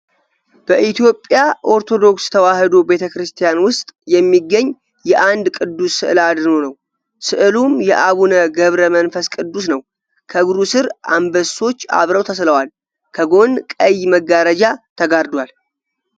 በኢትዮጵያ ኦርቶዶክስ ተዋህዶ ቤተ ክርስቲያን ውስጥ የሚገኝ የአንዱ ቅዱስ ስዕል አድህኖ ነው ። ስዕሉም የአቡነ ገብረ መንፈስ ቅዱስ ነው ። ከእግሩ ስር አንበሶች አብረው ተስለዋል ። ከጎን ቀይ መጋረጃ ተጋርዷል ።